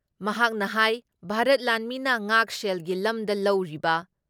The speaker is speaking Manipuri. ꯃꯍꯥꯛꯅ ꯍꯥꯏ ꯚꯥꯥꯔꯠ ꯂꯥꯟꯃꯤꯅ ꯉꯥꯛꯁꯦꯜꯒꯤ ꯂꯝꯗ ꯂꯧꯔꯤꯕ